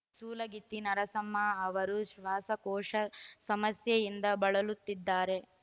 ಸೂಲಗಿತ್ತಿ ನರಸಮ್ಮ ಅವರು ಶ್ವಾಸಕೋಶ ಸಮಸ್ಯೆಯಿಂದ ಬಳಲುತ್ತಿದ್ದಾರೆ